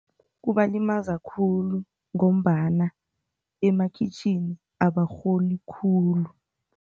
Kubalimaza khulu ngombana emakhitjhini abarholi khulu.